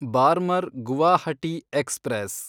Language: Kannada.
ಬಾರ್ಮರ್ ಗುವಾಹಟಿ ಎಕ್ಸ್‌ಪ್ರೆಸ್